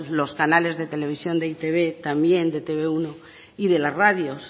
los canales de televisión de e i te be también de e te be uno y de la radios